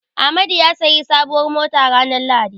Amadu ya sayi sabuwar mota ranar lahadi.